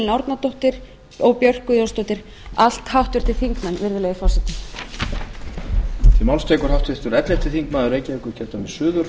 árnadóttir og björk guðjónsdóttir allt háttvirtir þingmenn virðulegur forseti klára katrínu en ái fer í næsta skjal